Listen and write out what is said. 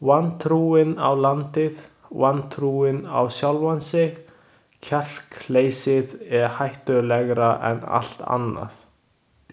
Vantrúin á landið, vantrúin á sjálfan sig, kjarkleysið er hættulegra en allt annað.